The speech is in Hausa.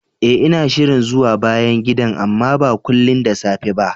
Eh, ina shirin zuwa bayan gidan, amma ba kullin da safe ba